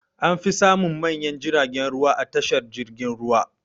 An fi samun manyan jiragen ruwa a tashar jirgin ruwa.